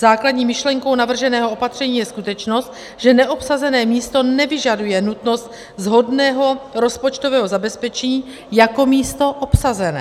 Základní myšlenkou navrženého opatření je skutečnost, že neobsazené místo nevyžaduje nutnost shodného rozpočtového zabezpečení jako místo obsazené.